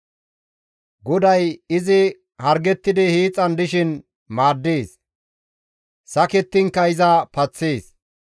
GODAY izi hargettidi hiixan dishin maaddees; sakettinkka iza paththees.